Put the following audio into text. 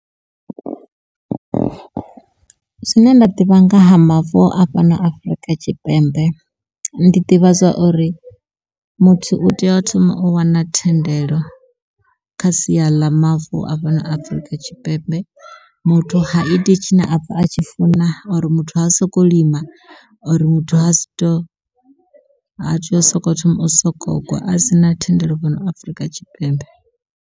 Zwine nda ḓivha nga ha mavu a fhano Afrika Tshipembe ndi ḓivha zwa uri muthu u tea a thoma o wana thendelo, kha sia ḽa mavu a fhano Afrika Tshipembe. Muthu haiti tshine apfha a tshi funa or muthu ha soko lima or muthu ha si to ha tei u soko thoma u soko u gwa a si na thendelo fhano Afrika Tshipembe.